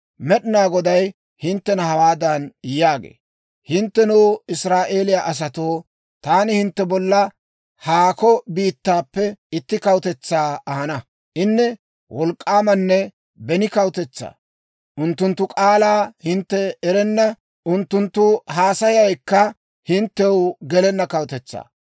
Med'inaa Goday hinttena hawaadan yaagee; «Hinttenoo, Israa'eeliyaa asatoo, taani hintte bolla haakko biittaappe itti kawutetsaa ahana. Inne wolk'k'aamanne beni kawutetsaa. Unttunttu k'aalaa hintte erenna, unttunttu haasayaykka hinttew gelenna kawutetsaa.